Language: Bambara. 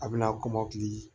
A bɛna kɔmɔkili